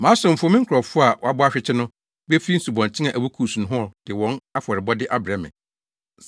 Mʼasomfo, me nkurɔfo a wɔabɔ ahwete no befi nsubɔnten a ɛwɔ Kus nohɔ de wɔn afɔrebɔde abrɛ me.